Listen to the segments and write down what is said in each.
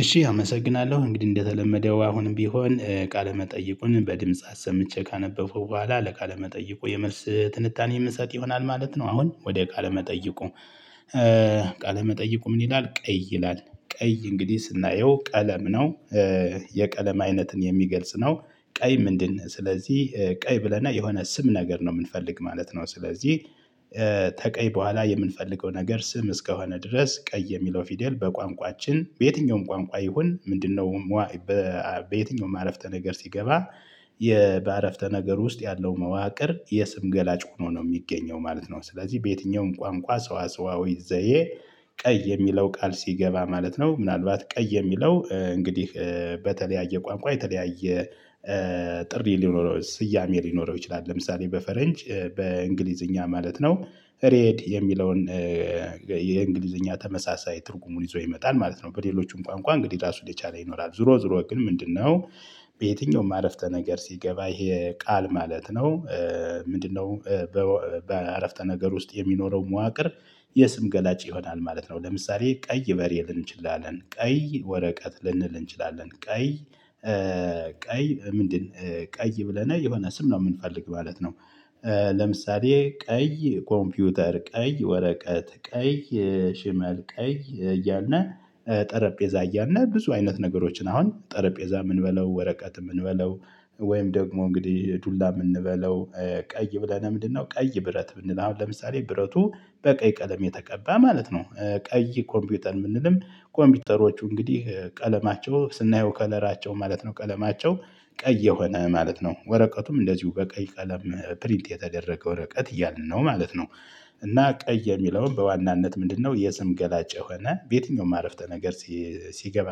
እሺ አመሰግናለሁ እንግዲህ እንደተለመደው አሁንም ቢሆን ቃለ መጠይቁን በድምጽ አሰምቼ ካነበብኩ በኋላ ለቃለ መጠይቁ የመልስ ትንታኔ የምሰጥ ይሆናል ማለት ነው። አሁን ወደ ቃለ መጠይቁ ቃለ መጠይቁ ምን? ይላል ቀይ ይላል ቀይ እንግዲህ ስናየው ቀለም ነው። የቀለም አይነትን የሚገልጽ ነው። ቀይ ምንድን? ስለዚህ ቀይ ብለና የሆነ ስም ነገር ነው የምንፈልግ ማለት ነው። ስለዚህ ተቀይ በኋላ የምንፈልገው ነገር ስም እስከሆነ ድረስ ቀይ የሚለው ፊደል በቋንቋችን በየትኛውም ቋንቋ ይሁን ምንድነው? በየትኛውም አረፍተ ነገር ሲገባ። በአረፍተ ነገር ውስጥ ያለው መዋቅር የስም ገላጭ ሆኖ ነው የሚገኘው ማለት ነው። ስለዚህ በየትኛውም ቋንቋ ሰዋሰዋዊ ዘዬ ቀይ የሚለው ቃል ሲገባ ማለት ነው። ምናልባት ቀይ የሚለው እንግዲህ በተለያየ ቋንቋ የተለያየ ጥሪ ሊኖረው ስያሜ ሊኖረው ይችላል። ለምሳሌ በፈረንጅ በእንግሊዝኛ ማለት ነው ሬድ የሚለውን የእንግሊዘኛ ተመሳሳይ ትርጉሙን ይዞ ይመጣል ማለት ነው። በሌሎችም ቋንቋ እንግዲህ ራሱ ሊቻል ይኖራል ዞሮ ዞሮ ግን ምንድነው? በየትኛውም አረፍተ ነገር ሲገባ ይሄ ቃል ማለት ነው። ምንድነው? በአረፍተ ነገር ውስጥ የሚኖረው መዋቅር የስም ገላጭ ይሆናል ማለት ነው። ለምሳሌ ቀይ በሬ ልንል እንችላለን ቀይ ወረቀት ልንል እንችላለን ቀይ ቀይ ምንድን? ቀይ ብለነው የሆነ ስም ነው የምንፈልግ ማለት ነው። ለምሳሌ ቀይ ኮምፒውተር ቀይ ወረቀት ቀይ ሽመል ቀይ እያና ጠረጴዛ እያልነ ብዙ አይነት ነገሮችን አሁን ጠረጴዛም ንበለውእ ወረቀትም እንበለው ወይም ደግሞ እንግዲህ ዱላም እንበለው። ቀይ ብለን ለምንድነው ቀይ ብረት ብንል አሁን ለምሳሌ ብረቱ በቀይ ቀለም የተቀባ ማለት ነው። ቀይ ኮምፒውተር የምንልም ኮምፒውተሮቹ እንግዲህ ቀለማቸው ስናየው ከለራቸው ማለት ነው ቀለማቸው ቀይ የሆነ ማለት ነው። ወረቀቱም እንደዚሁ በቀይ ቀለም ፕሪንት የተደረገ ወረቀት እያልን ነው ማለት ነው። እና ቀይ የሚለውን በዋናነት ምንድነው? የስም ገላጭ የሆነ በየትኛውም አረፍተ ነገር ሲገባ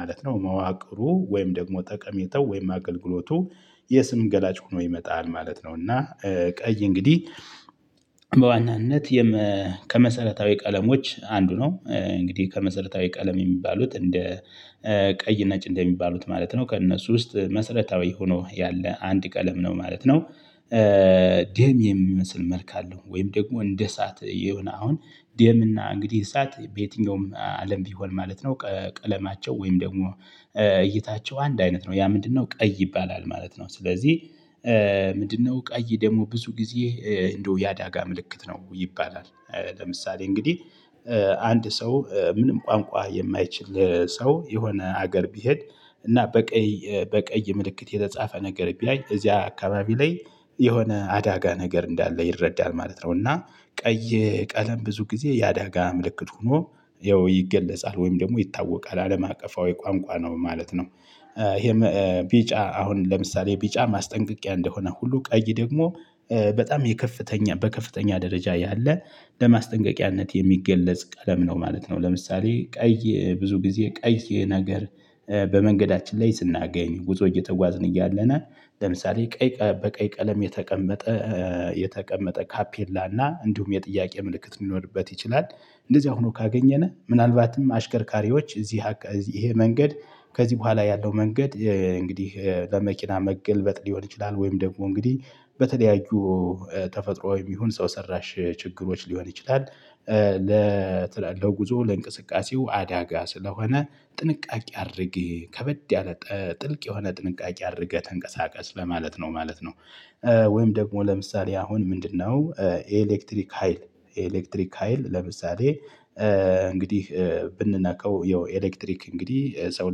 ማለት ነው መዋቅሩ ወይም ደግሞ ጠቀሜታው ወይም አገልግሎቱ የስም ገላጭ ሆኖ ይመጣል ማለት ነው። እና ቀይ እንግዲህ በዋናነት ከመሰረታዊ ቀለሞች አንዱ ነው እንግዲህ ከመሰረታዊ ቀለም የሚባሉት እንደ ቀይ ነጭ እንደሚባሉት ማለት ነው ከእነሱ ውስጥ መሰረታዊ ሆኖ ያለ አንድ ቀለም ነው ማለት ነው። ደም የሚመስል መልክ አለው። ወይም ደግሞ እንደ እሳት የሆነ አሁን ደም እና እንግዲህ እሳት በየትኛውም አለም ቢሆን ማለት ነው። ቀለማቸው ወይም ደግሞ እይታቸው አንድ አይነት ነው ያ ምንድነው ቀይ ይባላል ማለት ነው። ስለዚህ ምንድነው? ቀይ ደግሞ ብዙ ጊዜ እንደው የአደጋ ምልክት ነው ይባላል። ለምሳሌ እንግዲህ አንድ ሰው ምንም ቋንቋ የማይችል ሰው የሆነ ሀገር ቢሄድ እና በቀይ በቀይ ምልክት የተጻፈ ነገር ቢያይ እዚያ አካባቢ ላይ የሆነ አዳጋ ነገር እንዳለ ይረዳል ማለት ነው። እና ቀይ ቀለም ብዙ ጊዜ ያደጋ አምልክት ሆኖ ያው ይገለጻል ወይም ደግሞ ይታወቃል አለም አቀፋዊ ቋንቋ ነው ማለት ነው። ይሄ ቢጫ አሁን ለምሳሌ ቢጫ ማስጠንቀቂያ እንደሆነ ሁሉ ቀይ ደግሞ በጣም የከፍተኛ በከፍተኛ ደረጃ ያለ ለማስጠንቀቂያነት የሚገለጽ ቀለም ነው ማለት ነው። ለምሳሌ ቀይ ብዙ ጊዜ ቀይ ነገር በመንገዳችን ላይ ስናገኝ ጉዞ እየተጓዝን እያለናል ለምሳሌ ቀይ በቀይ ቀለም የተቀመጠ የተቀመጠ ታፔላና እንዲሁም የጥያቄ ምልክት ሊኖርበት ይችላል። እንደዚህ አሁኑ ካገኘነ ምናልባትም አሽከርካሪዎች እዚህ ይሄ መንገድ ከዚህ በኋላ ያለው መንገድ እንግዲህ ለመኪና መገልበጥ ሊሆን ይችላል ወይም ደግሞ እንግዲህ በተለያዩ ተፈጥሮ የሚሆን ሰው ሰራሽ ችግሮች ሊሆን ይችላል። ለጉዞው ለእንቅስቃሴው አዳጋ ስለሆነ ጥንቃቄ አድርግ ከበድ ያለ ጥልቅ የሆነ ጥንቃቄ አድርገህ ተንቀሳቀስ ለማለት ነው ማለት ነው። ወይም ደግሞ ለምሳሌ አሁን ምንድነው? ኤሌክትሪክ ሀይል ኤሌክትሪክ ሀይል ለምሳሌ እንግዲህ ብንናቀው ያው ኤሌክትሪክ እንግዲህ ሰው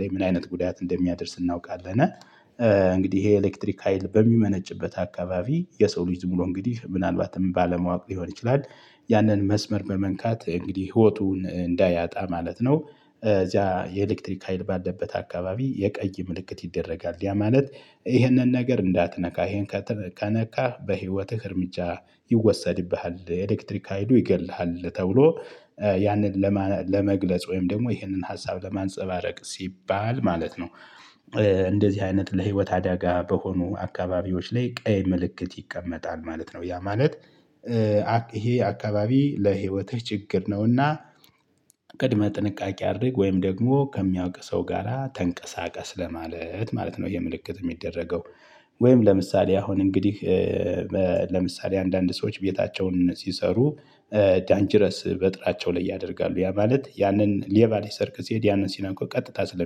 ላይ ምን አይነት ጉዳት እንደሚያደርስ እናውቃለን። እንግዲህ ይሄ ኤሌክትሪክ ሀይል በሚመነጭበት አካባቢ የሰው ልጅ ብሎ እንግዲህ ምናልባትም ባለማወቅ ሊሆን ይችላል ያንን መስመር በመንካት እንግዲህ ህይወቱን እንዳያጣ ማለት ነው። እዚያ የኤሌክትሪክ ሀይል ባለበት አካባቢ የቀይ ምልክት ይደረጋል ያ ማለት። ይህንን ነገር እንዳትነካ ይሄን ከነካህ በህይወትህ እርምጃ ይወሰድብሃል ኤሌክትሪክ ሀይሉ ይገድልሃል። ተብሎ ያንን ለመግለጽ ወይም ደግሞ ይህንን ሀሳብ ለማንፀባረቅ ሲባል ማለት ነው። እንደዚህ አይነት ለህይወት አደጋ በሆኑ አካባቢዎች ላይ ቀይ ምልክት ይቀመጣል ማለት ነው። ያ ማለት ይሄ አካባቢ ለህይወትህ ችግር ነውና ቅድመ ጥንቃቄ አድርግ ወይም ደግሞ ከሚያውቅ ሰው ጋራ ተንቀሳቀስ ለማለት ማለት ነው የምልክት የሚደረገው። ወይም ለምሳሌ አሁን እንግዲህ ለምሳሌ አንዳንድ ሰዎች ቤታቸውን ሲሰሩ ዳንጅረስ በጥራቸው ላይ ያደርጋሉ ያ ማለት ያንን ሌባ ሌሰርቅ ሲሄድ ያንን ሲነካው ቀጥታ